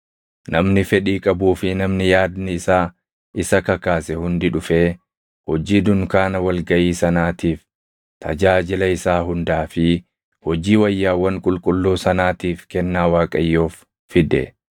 namni fedhii qabuu fi namni yaadni isaa isa kakaase hundi dhufee hojii dunkaana wal gaʼii sanaatiif, tajaajila isaa hundaa fi hojii wayyaawwan qulqulluu sanaatiif kennaa Waaqayyoof fide.